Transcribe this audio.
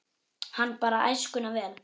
Hann bar æskuna vel.